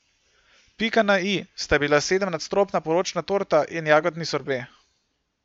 Pika na i sta bila sedemnadstropna poročna torta in jagodni sorbet.